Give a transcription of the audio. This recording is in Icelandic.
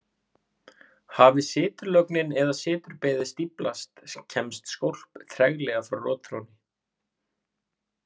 Hafi siturlögnin eða siturbeðið stíflast kemst skólp treglega frá rotþrónni.